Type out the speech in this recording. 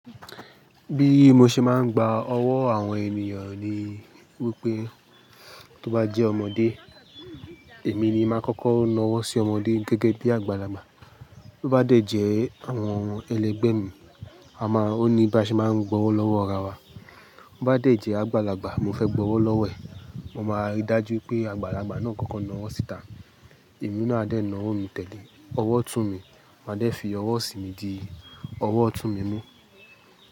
Bí mo ṣe máa ń gba ọwọ́ àwọn ènìyàn ni wípé tó bá jẹ́ ọmọdé, èmi ni máa kọ́kọ́ ń na ọwọ́ sí ọmọdé gẹ́gẹ́ bí àgbàlagbà. Tó bá dẹ̀ jẹ́ àwọn ẹlẹgbẹ́ mi, a máa o ní bà ṣe máa ń gba ọwọ́ lọ́wọ́ ara wa. Tó bá dẹ̀ jẹ́ àgbàlagbà, mo fẹ́ gba ọwọ́ lọ́wọ́ ẹ̀, mo máa rí i dájú pé àgbàlagbà náà kọ́kọ́ na ọwọ́ síta, ẹ̀mí náà a dẹ̀ na owo tẹ́lẹ̀, ọwọ́ tún mi, màá dẹ̀ fi ọwọ́ sí mi di, ọwọ́ tún mi mú.